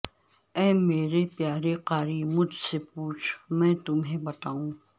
اے میرے پیارے قاری مجھ سے پوچھ میں تمھیں بتاوں